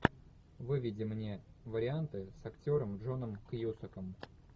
выведи мне варианты с актером джоном кьюсаком